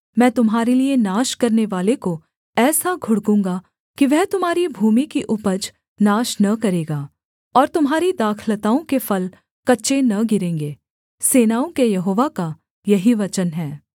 मैं तुम्हारे लिये नाश करनेवाले को ऐसा घुड़कूँगा कि वह तुम्हारी भूमि की उपज नाश न करेगा और तुम्हारी दाखलताओं के फल कच्चे न गिरेंगे सेनाओं के यहोवा का यही वचन है